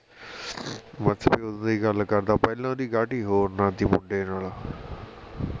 ਮੱਛਰ ਵੀ ਉਦੋਂ ਦਾ ਹੀ ਗੱਲ ਕਰਦਾ ਪਹਿਲਾਂ ਓਹਦੀ ਗਾਟੀ ਹੋਰ ਨਾਲ ਸੀ ਮੁੰਡੇ ਨਾਲ